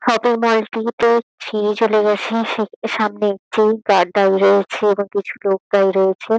Shopping mall -টি তে ছেরে চলে গেছি। সে সামনে একটি গার্ড দাঁড়িয়ে রয়েছে এবং প্রচুর লোক দাঁড়িয়ে রয়েছে।